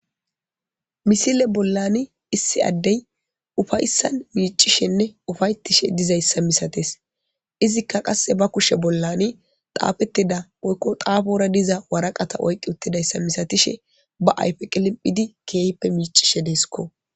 misile bollani issi addey ufayssan miicishenne ufayttishe dizayssa misates izikka qasse ba kushe bollani xaafettida oykko xaafora diza waraqata oyqqi uttidayssa misatishe ba ayfe qiliphidi keehppe miicishe deeskko